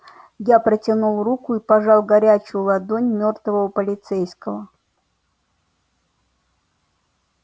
я протянул руку и пожал горячую ладонь мёртвого полицейского